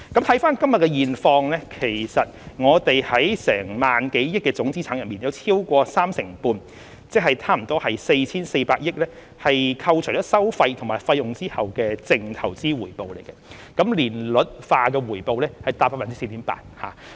看看今日的現況，其實我們在萬多億元的總資產中有超過三成半，即近 4,400 億元為扣除收費和費用後的淨投資回報，年率化回報達 4.8%。